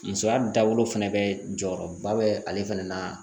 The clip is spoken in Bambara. Musoya dabolo fɛnɛ bɛ jɔyɔrɔba bɛ ale fana na